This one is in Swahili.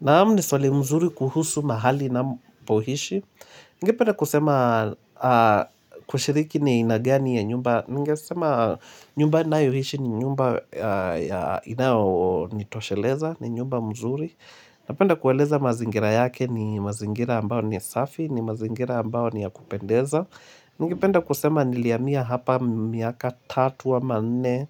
Naam ni swali mzuri kuhusu mahali na mpohishi. Ningependa kusema kushiriki ni aina gani ya nyumba. Ningesema nyumba nayoishi ni nyumba ya inao nitosheleza, ni nyumba mzuri. Napenda kueleza mazingira yake ni mazingira ambao ni safi, ni mazingira ambao ni ya kupendeza. Ningependa kusema nilihamia hapa miaka tatu ama nne.